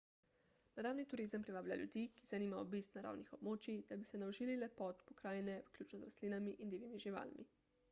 naravni turizem privablja ljudi ki jih zanima obisk naravnih območij da bi se naužili lepot pokrajine vključno z rastlinami in divjimi živalmi